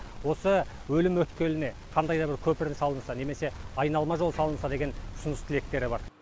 осы өлім өткеліне қандай да бір көпір салынса немесе айналма жол салынса деген ұсыныс тілектері бар